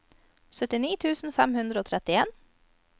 syttini tusen fem hundre og trettien